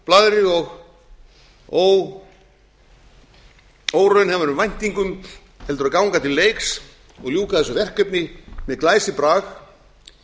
blaðri og óraunhæfum væntingum heldur ganga til leiks og ljúka þessu verkefni með glæsibrag